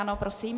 Ano, prosím.